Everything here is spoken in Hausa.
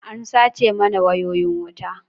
An sace mana wayoyin wuta.